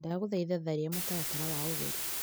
Ndagũthaitha tharia mũtaratara wa ũgũri .